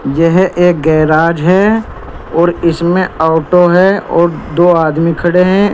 यह एक गेराज है और इसमें ऑटो है और दो आदमी खड़े हैं।